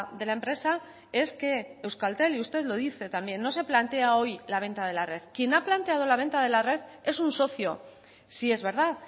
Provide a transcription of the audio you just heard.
de la empresa es que euskaltel y usted lo dice también no se plantea hoy la venta de la red quien ha planteado la venta de la red es un socio sí es verdad